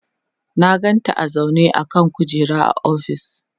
na ganta a zaune a kan kujera a ofis